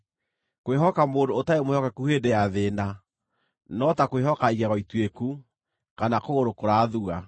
Kwĩhoka mũndũ ũtarĩ mwĩhokeku hĩndĩ ya thĩĩna, no ta kwĩhoka igego ituĩku, kana kũgũrũ kũrathua.